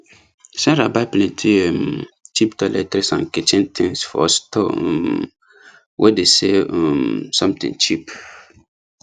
sarah buy plenty um cheap toiletries and kitchen things for store um wey dey sell um something cheap